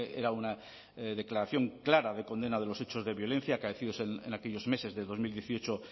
era una declaración clara de condena de los hechos de violencia acaecidos en aquellos meses de dos mil dieciocho